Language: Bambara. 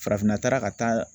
Farafinna taara ka taa